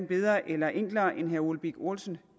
bedre eller enklere end som herre ole birk olesen